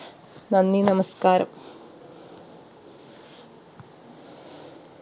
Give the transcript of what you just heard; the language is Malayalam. നന്ദി നമസ്ക്കാരം